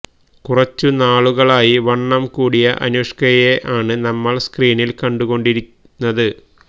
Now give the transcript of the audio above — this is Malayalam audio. കുറച്ചു നാളുകളായി വണ്ണം കൂടിയ അനുഷ്കയെ ആണ് നമ്മള് സ്ക്രീനില് കണ്ടു കൊണ്ടിരുന്നത്